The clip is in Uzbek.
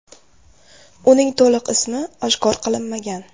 Uning to‘liq ismi oshkor qilinmagan.